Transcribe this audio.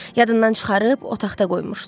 Yadından çıxarıb otaqda qoymuşdu.